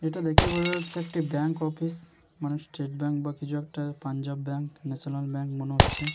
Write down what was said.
এটা দেখেই বোঝা যাচ্ছে একটি ব্যাঙ্ক অফিস মানে স্টেট ব্যাঙ্ক বা কিছু একটা পাঞ্জাব ব্যাঙ্ক ন্যাশনাল ব্যাঙ্ক মনে হচ্ছে।